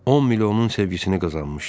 10 milyonun sevgisini qazanmışdı.